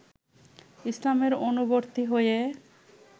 ইসলামের অনুবর্তী হয়ে